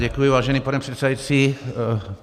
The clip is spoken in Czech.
Děkuji, vážený pane předsedající.